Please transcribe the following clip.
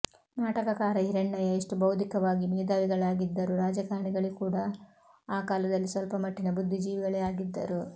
ನಾಟಕಕಾರ ಹಿರಣ್ಣಯ್ಯ ಎಷ್ಟು ಬೌದ್ದಿಕವಾಗಿ ಮೇದಾವಿಗಳಾಗಿದ್ದರೂ ರಾಜಕಾರಣಿಗಳೂ ಕೂಡಾ ಆ ಕಾಲದಲ್ಲಿ ಸ್ವಲ್ಪ ಮಟ್ಟಿನ ಬುದ್ದಿ ಜೀವಿಗಳೇ ಆಗಿದ್ದರು